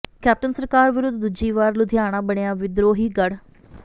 captain ਸਰਕਾਰ ਵਿਰੁੱਧ ਦੂਜੀ ਵਾਰ ਲੁਧਿਆਣਾ ਬਣਿਆ ਵਿਦਰੋਹੀ ਗੜ੍ਹ